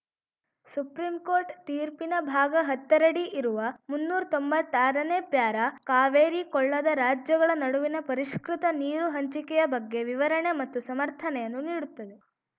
supreme court ತೀರ್ಪಿನ ಭಾಗ ಹತ್ತರಡಿ ಇರುವ ಮುನ್ನೂರ್ ತೊಂಬತ್ತಾರನೇ ಪ್ಯಾರಾ ಕಾವೇರಿ ಕೊಳ್ಳದ ರಾಜ್ಯಗಳ ನಡುವಿನ ಪರಿಷ್ಕೃತ ನೀರು ಹಂಚಿಕೆಯ ಬಗ್ಗೆ ವಿವರಣೆ ಮತ್ತು ಸಮರ್ಥನೆಯನ್ನು ನೀಡುತ್ತದೆ